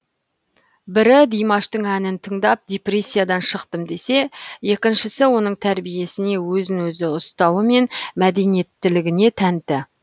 бірі димаштың әнін тыңдап депрессиядан шықтым десе екіншісі оның тәрбиесіне өзін өзі ұстауы мен мәдениеттілігіне тәнті